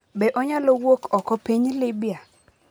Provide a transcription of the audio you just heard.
Be onyalo wuok oko piny Libya?